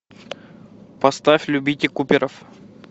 поставь любите куперов